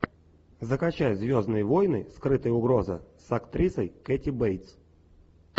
закачай звездные войны скрытая угроза с актрисой кэти бейтс